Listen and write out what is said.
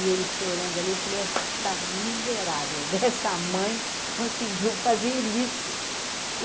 E ele chorando ali, eu falei, esta miserável dessa mãe conseguiu fazer isso.